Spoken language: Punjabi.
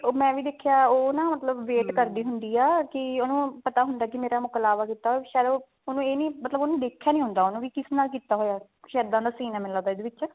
ਉਹ ਮੈਂ ਵੀ ਦੇਖਿਆ ਉਹ ਨਾ ਮਤਲਬ wait ਕਰਦੀ ਹੁੰਦੀ ਆ ਕੀ ਉਹਨੂੰ ਪਤਾ ਹੁੰਦਾ ਕੀ ਮੇਰਾ ਮੁਕਲਾਵਾ ਕੀਤਾ ਉਹਨੂੰ ਇਹ ਨੀ ਮਤਲਬ ਉਹਨੇ ਦੇਖਿਆ ਨੀ ਹੁੰਦਾ ਵੀ ਕਿਸ ਨਾਲ ਕੀਤਾ ਹੋਇਆ ਕੁਛ ਇੱਦਾਂ ਦਾ seen ਹੈ ਇਹਦੇ ਵਿੱਚ